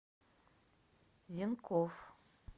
зенков